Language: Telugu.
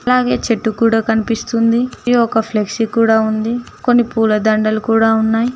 అలాగే చెట్టు కూడా కనిపిస్తుంది ఒక ఫ్లెక్సీ కూడా ఉంది కొన్ని పూలదండలు కూడా ఉన్నాయి.